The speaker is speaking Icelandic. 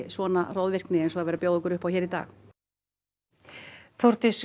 svona hroðvirkni eins og er verið að bjóða okkur upp á hér í dag Þórdís